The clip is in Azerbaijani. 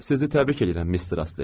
Sizi təbrik edirəm, Mister Astley.